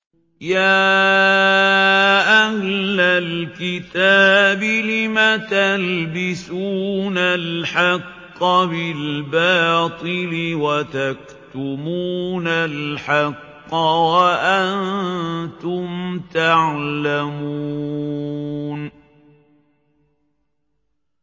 يَا أَهْلَ الْكِتَابِ لِمَ تَلْبِسُونَ الْحَقَّ بِالْبَاطِلِ وَتَكْتُمُونَ الْحَقَّ وَأَنتُمْ تَعْلَمُونَ